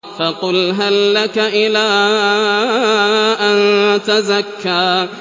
فَقُلْ هَل لَّكَ إِلَىٰ أَن تَزَكَّىٰ